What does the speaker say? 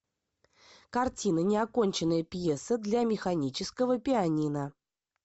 картина неоконченная пьеса для механического пианино